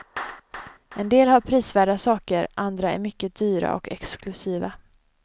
En del har prisvärda saker, andra är mycket dyra och exklusiva.